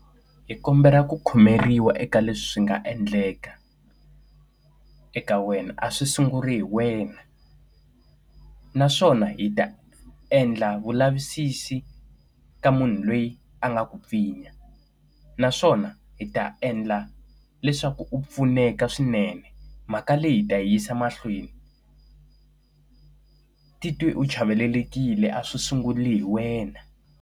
Hi kombela ku khomeriwa eka leswi swi nga endleka eka wena, a swi sunguli hi wena. Naswona hi ta endla vulavisisi ka munhu loyi a nga ku pfinya naswona hi ta endla leswaku u pfuneka swinene, mhaka leyi hi ta yisa mahlweni titwe u chavelelekile a swi sunguli hi wena.